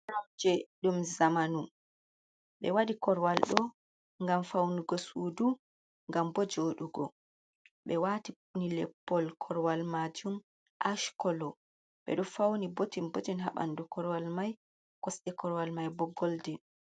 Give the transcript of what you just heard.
Jooɗirɗum zamanu, ɓe waɗi korowal ɗo ngam fawnugo suudu ngam bo jooɗugo, ɓe waati pin leppol korwal maajum aac kolo ɓe ɗo fawni botin bo haaɓanndu korwal may, kosɗe korwal may boo goldin.